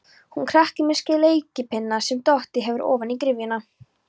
Hún krakki með sleikipinna sem dottið hefur ofan í gryfjuna.